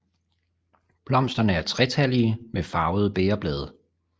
Blomsterne er tretallige med farvede bægerblade